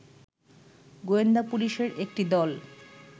গোয়েন্দা পুলিশের একটি দল